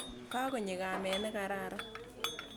Ka konyo kamet ne kararan.